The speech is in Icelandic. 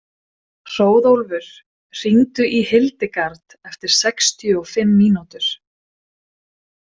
Hróðólfur, hringdu í Hildegard eftir sextíu og fimm mínútur.